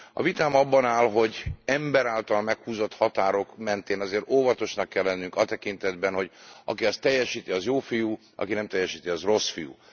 A vitám abban áll, hogy ember által meghúzott határok mentén azért óvatosnak kell lennünk a tekintetben, hogy aki ezt teljesíti, az jófiú, aki nem teljesíti, az rosszfiú.